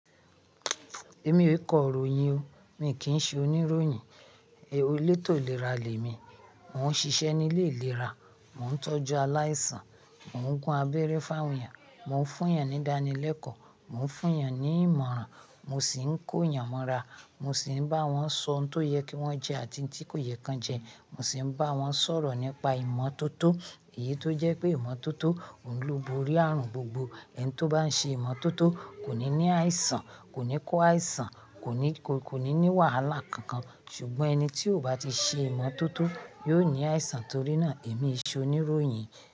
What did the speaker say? Èmi ò kọ́ ìròyìn o, mi kì í ṣe oníròyìn. È lo lè tò léra lè mi. Mo ń ṣiṣẹ́ nílé ìlera, mo ń tọ́jú aláìsàn, mò ń gún abẹ́rẹ́ fáwùn èèyàn, mò ń fún yàn ní idáni lẹ́kọ̀ọ́, mò ń fún yàn ní ìmọ̀ràn, mo sì ń kó yàn mọ́ra, mo sì ń bá wọn sọ n tó yẹ kí wọ́n jẹ àti tí kò yẹ kí wọ́n jẹ, mo sì ń bá wọn sọ̀rọ̀ nípa ìmọ́tótó. Èyí tó jẹ́ pé ìmọ́tótó ò ń lú borí ààrùn gbogbo. Ẹni tí ó bá ń ṣe ìmọ́tótó kò ní ní àìsàn, kò ní kó àìsàn, kò ní, kò ní ní wàhálà kankan. Ṣùgbọ́n ẹni tí ò bá ti ṣe ìmọ́tótó yóò ní àìsàn torí náà èmi ṣe oníròyìn.